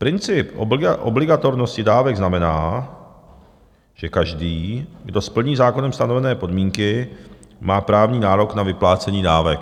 Princip obligatornosti dávek znamená, že každý, kdo splní zákonem stanovené podmínky, má právní nárok na vyplácení dávek.